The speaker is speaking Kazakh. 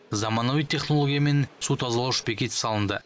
заманауи технологиямен су тазалауыш бекет салынды